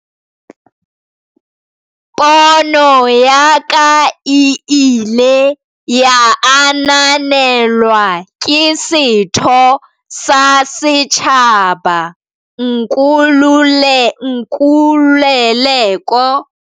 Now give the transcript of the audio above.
Pono ya ka e ile ya ananelwa ke setho sa setjhaba, Nkululeko Ralo, ya ileng a nehela ka karatjhe ya hae ya lapeng hore e sebediswe e le sekolo, ho rialo Gilman.